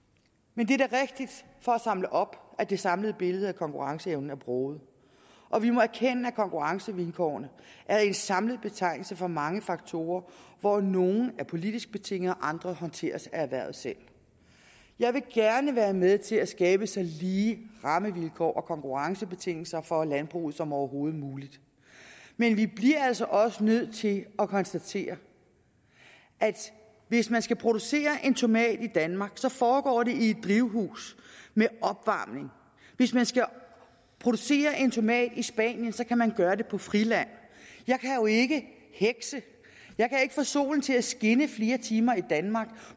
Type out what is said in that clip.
men for at samle op rigtigt at det samlede billede af konkurrenceevnen er broget og vi må erkende at konkurrencevilkårene er en samlet betegnelse for mange faktorer hvoraf nogle er politisk betinget og andre håndteres af erhvervet selv jeg vil gerne være med til at skabe så lige rammevilkår og konkurrencebetingelser for landbruget som overhovedet muligt men vi bliver altså også nødt til at konstatere at hvis man skal producere en tomat i danmark foregår det i drivhus med opvarmning hvis man skal producere en tomat i spanien kan man gøre det på friland jeg kan jo ikke hekse jeg kan ikke få solen til at skinne flere timer i danmark